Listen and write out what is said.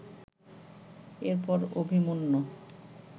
এরপর অভিমন্যু